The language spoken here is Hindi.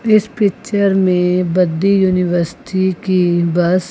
इस पिक्चर में बद्दी यूनिवर्सिटी की बस --